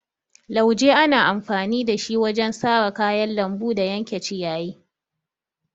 Lauje ana amfani da shi wajen sare kayan lambu da yanke ciyayi.